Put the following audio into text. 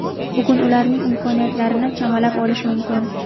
Bugun ularning imkoniyatlarini chamalab olish mumkin.